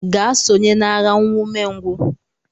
Gaa sonye n'agha, nwa umengwụ!